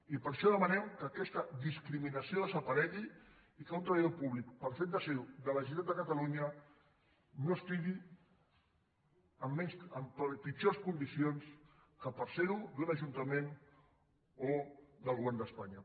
i per això demanem que aquesta discriminació des·aparegui i que un treballador públic pel fet de ser·ho de la generalitat de catalunya no estigui en pitjors condicions que per ser·ho d’un ajuntament o del go·vern d’espanya